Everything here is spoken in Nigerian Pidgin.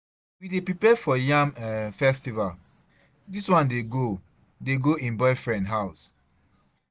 We dey prepare for yam um festival, dis one dey go dey go im boyfriend house.